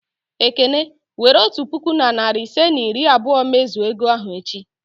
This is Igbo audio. Ekene, were otu puku na narị ise na iri abụọ mezue ego ahụ echi!